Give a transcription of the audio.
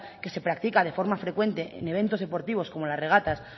que se practica de forma frecuente en eventos deportivos como las regatas